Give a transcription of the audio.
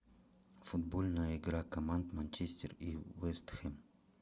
футбольная игра команд манчестер и вест хэм